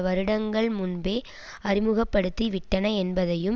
வருடங்கள் முன்பே அறிமுக படுத்தி விட்டன என்பதையும்